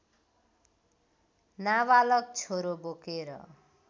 नाबालक छोरो बोकेर